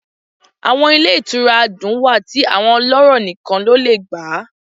Awọn ile itúra adún wá ti awọn ọlọrọ níkán lọ le gbá